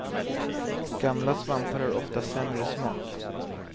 Gamla svampar har ofta sämre smak.